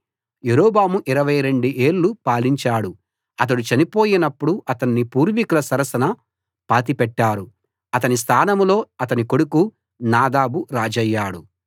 యరొబాము 22 ఏళ్ళు పాలించాడు అతడు చనిపోయినప్పుడు అతన్ని పూర్వీకుల సరసన పాతిపెట్టారు అతని స్థానంలో అతని కొడుకు నాదాబు రాజయ్యాడు